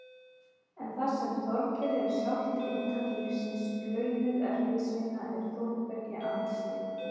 En það sem Þorgeiri er sjálft inntak lífsins- launuð erfiðisvinna- er Þórbergi andstyggð.